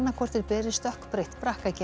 hvort þeir beri stökkbreytt